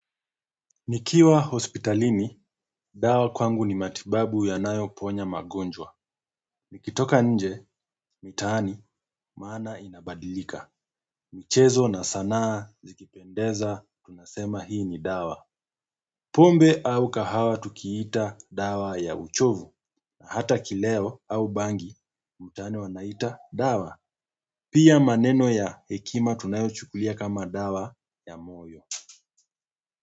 Nikiwa hospitalini, dawa kwangu ni matibabu yanayoponya magonjwa. Nikitoka nje, mtaani, maana inabadilika. Michezo na sanaa zikipendeza, tunasema hii ni dawa. Pombe au kahawa tukiita dawa ya uchovu, na hata kileo au bangi, mtaani wanaita dawa. Pia maneno ya hekima tunayochukulia kama dawa ya moyo.